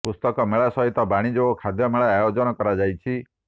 ପୁସ୍ତକ ମେଳା ସହିତ ବାଣିଜ୍ୟ ଓ ଖାଦ୍ୟ ମେଳା ଆୟୋଜନ କରାଯାଇଛି